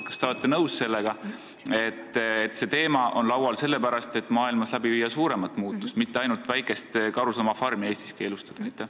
Kas te olete nõus, et see teema on laual sellepärast, et maailmas läbi viia suuremat muutust, mitte ainult ühte väikest karusloomafarmi Eestis keelustada?